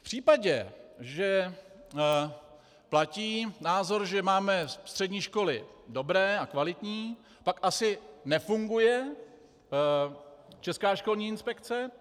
V případě, že platí názor, že máme střední školy dobré a kvalitní, pak asi nefunguje Česká školní inspekce.